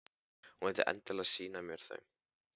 Hún vildi endilega sýna mér þau.